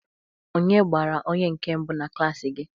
Onye gbara onye nke mbụ na klaasị gị?